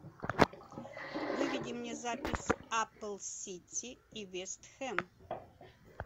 выведи мне запись апл сити и вест хэм